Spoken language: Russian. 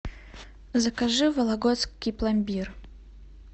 закажи вологодский пломбир